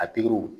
A pikiriw